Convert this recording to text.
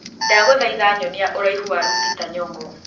Ndagũthaitha nyonia ũraihu wa lupita nyongo